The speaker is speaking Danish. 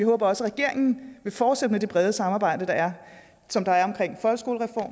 håber at regeringen vil fortsætte med det brede samarbejde som der er